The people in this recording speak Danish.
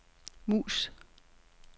mus